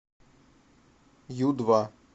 ю два